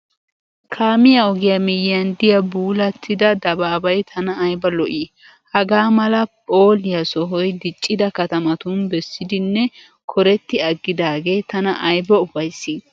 Kaamiya ogiya miyyiyan diya buulattida dabaabay tana ayiba lo'i! Hagaa mala phooliya sohoy diccida katamatun bessidinne koretti aggidaagee tana ayiba ufayissi!